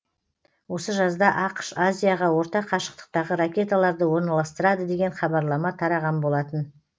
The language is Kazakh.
осы жазда ақш азияға орта қашықтықтағы ракеталарды орналастырады деген хабарлама тараған болатын